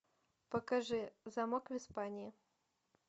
покажи замок в испании